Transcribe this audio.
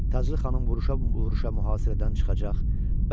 Taclı xanım vuruşam-vuruşam mühasirədən çıxacaq.